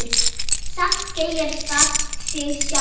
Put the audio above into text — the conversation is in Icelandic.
Samt segir það sig sjálft.